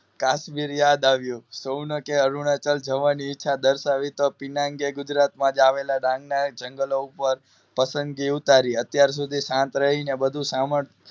કાશ્મીર યાદ આવ્યું સોનકે અરુણાચલ જવાની ઈચ્છા દર્શાવી પીનાકે ગુજરાતમાં જ આવેલા ડાંગ ના જંગલ ઉપર પસંદગી ઉતારી અત્યારે સુધી શાંત રહીને બધુ સાંભળ